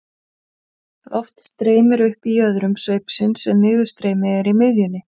loft streymir upp í jöðrum sveipsins en niðurstreymi er í miðjunni